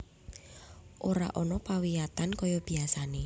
Ora ana pawiyatan kaya biasane